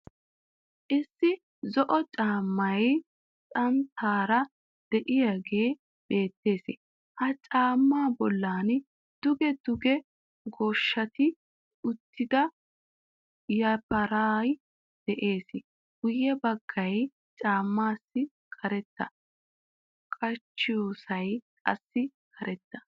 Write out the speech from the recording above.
Issi zo"o caammay xanttaara de'iyagee bettees. Ha caamma bollan duge duge goosheetti uttida yafaray de'ees. Guye baggay caammaassi karetta, qachchiyossay qassi karetta.